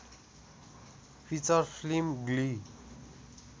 feature film Glee